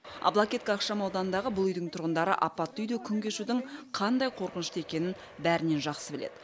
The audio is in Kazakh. аблакетка ықшамауданындағы бұл үйдің тұрғындары апатты үйде күн кешудің қандай қорқынышты екенін бәрінен жақсы біледі